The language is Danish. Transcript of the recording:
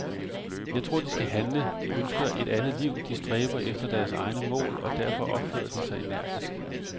Jeg tror de skal handle, de ønsker et andet liv, de stræber efter deres egne mål, og derfor opfører de sig energisk.